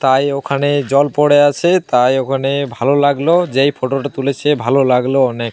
তাই ওখানে জল পড়ে আছে। তাই ওখানে ভালো লাগলো। যে এই ফটোটা তুলেছে ভালো লাগলো অনেক।